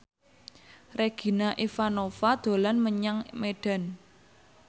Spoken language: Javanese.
Regina Ivanova dolan menyang Medan